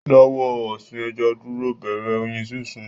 Dáwọ́ ọ̀sìn ẹja dúró, bẹ̀rẹ̀ Oyin sínsìn